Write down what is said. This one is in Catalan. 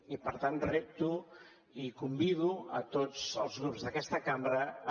i per tant repto i convido tots els grups d’aquesta cambra a